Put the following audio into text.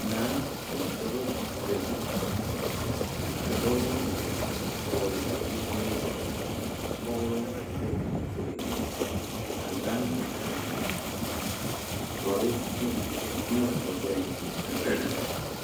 Naa la ka ba zagle ka dɔɔ vɔgle zupele ka koglɔ a be a zupele ka Naa a eŋ doɔre piiɛ boma o gbeɛ mh mhh.